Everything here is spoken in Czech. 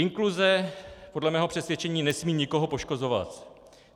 Inkluze podle mého přesvědčení nesmí nikoho poškozovat.